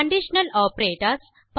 conditional operators